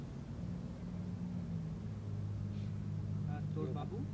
আর তোর বাবু?